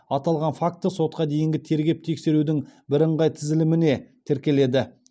аталған факті сотқа дейінгі тергеп тексерудің бірыңғай тізіліміне тіркеледі